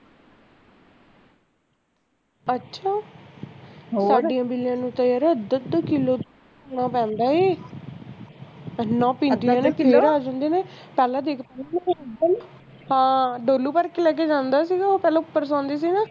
ਅੱਛਾ ਸਾਰਾ ਦੁੱਧ ਕਿਲੋ ਜਾਂਦਾ ਐ ਐਨਾ ਪੀਂਦੀ ਆ ਹਾਂ ਡੋਲੂ ਭਰ ਕੇ ਲੈ ਕੇ ਜਾਂਦੇ ਸੀਗੇ ਪਹਿਲਾ ਉਪਰ ਜਾਂਦੇ ਸੀਗੇ